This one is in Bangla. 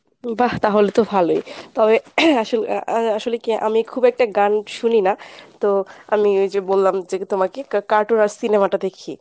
বাহ তাহলে তো ভালোই তবে আ~ আসলে কী আমি খুব একটা গান শুনি না তো আমি ঐ যে বললাম যে তোমাকে ca~ cartoon আর cinema টা দেখি।